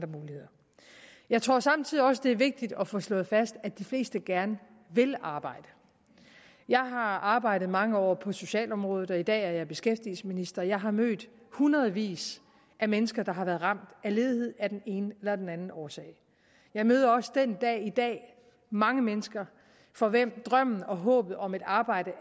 muligheder jeg tror samtidig også det er vigtigt at få slået fast at de fleste gerne vil arbejde jeg har arbejdet mange år på socialområdet og i dag er jeg beskæftigelsesminister jeg har mødt hundredvis af mennesker der har været ramt af ledighed af den ene eller den anden årsag jeg møder også den dag i dag mange mennesker for hvem drømmen og håbet om et arbejde